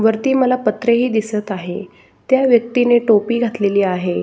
वरती मला पत्रे ही दिसत आहे त्या व्यक्तीने टोपी घातलेली आहे.